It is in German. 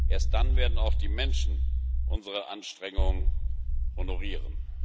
Erst dann werden auch die Menschen unsere Anstrengung honorieren.